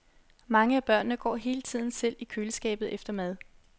Mange af børnene går hele tiden selv i køleskabet efter mad.